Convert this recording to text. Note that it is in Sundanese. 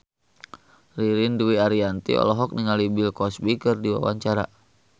Ririn Dwi Ariyanti olohok ningali Bill Cosby keur diwawancara